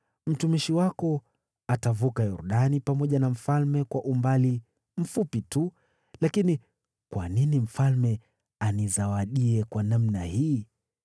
Mtumishi wako atavuka Yordani pamoja na mfalme kwa umbali mfupi tu, lakini kwa nini mfalme anizawadie kwa namna hii?